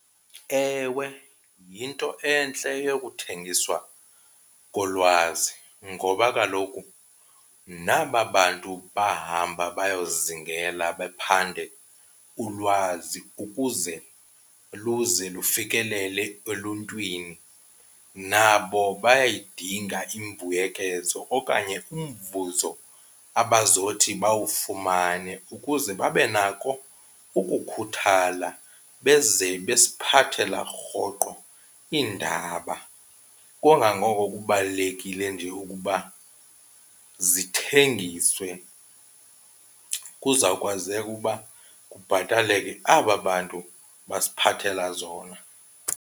Ewe, yinto entle eyokuthengiswa kolwazi ngoba kaloku naba bantu bahamba bayozingela baphande ulwazi ukuze luze lufikelele eluntwini nabo bayayidinga imbuyekezo okanye umvuzo abazokuthi bawufumane ukuze babe nako ukukhuthala beze besiphathela rhoqo iindaba. Kungangoko kubalulekile nje ukuba zithengiswe kuzawukwazeka ukuba kubhataleke aba bantu basiphathela zona.